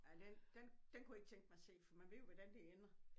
Ja den den den kunne jeg ikke tænke mig at se for man ved jo hvordan det ender